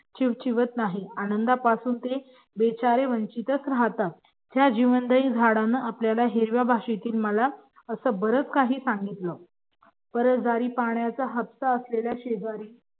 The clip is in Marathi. चिवचिवत नाहीत बिचारे ते या आनंदापासून वंचितच राहतात त्या जीवनदायी झाडांनी आपल्याला हिरव्या भाषेत मला असं बरच काही सांगितलं रहदारी हट्ट असलेलं पाण्याचा शेजारी